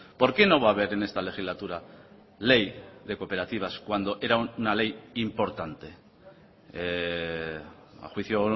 por qué no va a haber en esta legislatura ley de cooperativas cuando era una ley importante a juicio